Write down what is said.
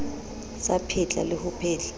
sa phetla le ho phetla